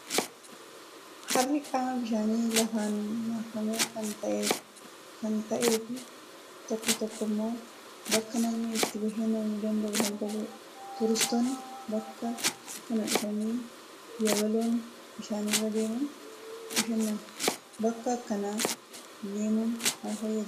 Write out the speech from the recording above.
Harri qaama bishaanii lafaan marfame kan ta'ee fi tokko tokko immoo bakka namni itti bashannanuu danda'u kan qabudha. Turistoonni bakka kana dhufanii yabaloon bishaanirra deemuun bashannanu. Bakka akkanaa deemuun maal fayyada?